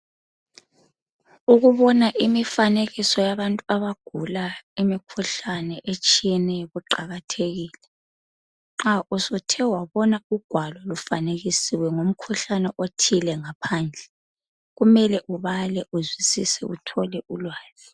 Ukubona imifanekiso yabantu abagula imikhuhlane etshiyeneyo kuqakathekile, nxa usuthe wabona ugwalo lufanekisiwe ngomkhuhlane othile ngaphandle, kumele ubale uzwisise uthole ulwazi.